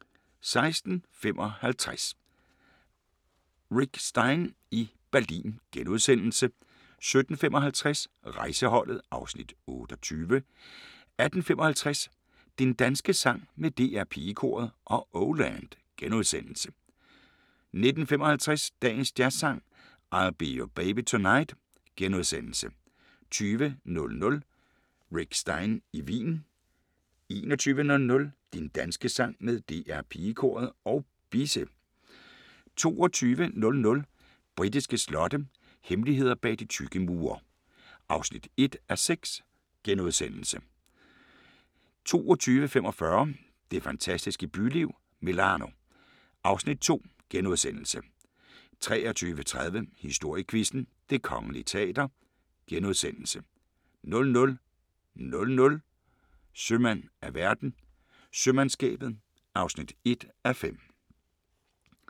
16:55: Rick Stein i Berlin * 17:55: Rejseholdet (Afs. 28) 18:55: Din danske sang med DR Pigekoret og Oh Land * 19:55: Dagens Jazzsang: I'll Be Your Baby Tonight * 20:00: Rick Stein i Wien 21:00: Din danske sang med DR Pigekoret og Bisse 22:00: Britiske slotte – hemmeligheder bag de tykke mure (1:6)* 22:45: Det fantastiske byliv – Milano (Afs. 2)* 23:30: Historiequizzen: Det Kongelige Teater * 00:00: Sømand af verden – Sømandskabet (1:5)*